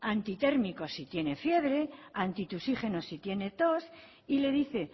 antitérmicos si tiene fiebre antitusígenos si tiene tos y le dice